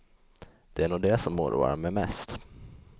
Det är nog det som oroar mig mest.